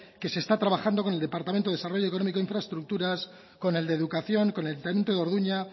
que se está trabajando con el departamento de desarrollo económico e infraestructuras con el de educación con el ayuntamiento de orduña